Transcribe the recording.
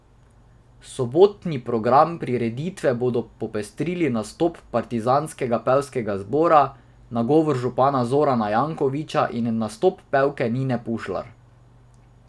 Sobotni program prireditve bodo popestrili nastop partizanskega pevskega zbora, nagovor župana Zorana Jankovića in nastop pevke Nine Pušlar.